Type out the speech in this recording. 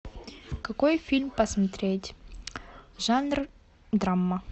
какой фильм посмотреть жанр драма